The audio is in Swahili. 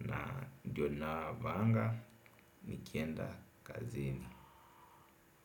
na ndio ninavaanga nikienda kazini.